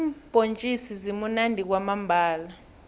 iimbhontjisi zimunandi kwamambhala